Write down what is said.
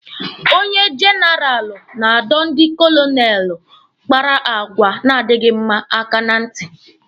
Onye jenaralụ na-adọ ndi kolonelụ kpara àgwà na-adịghi mma aka ná ntị.